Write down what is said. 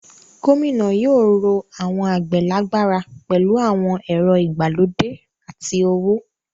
Gómìnà yóò ró àwọn àgbẹ̀ lágbára pẹ̀lú àwọn ẹ̀rọ ìgbàlódé àti owó.